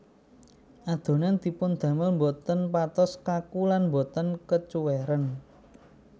Adonan dipun damel boten patos kaku lan boten kecuwèren